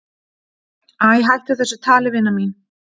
"""Æ, hættu þessu tali, vina mín."""